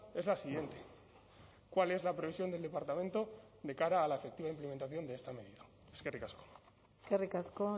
es la siguiente cuál es la previsión del departamento de cara a la efectiva implementación de esta medida eskerrik asko eskerrik asko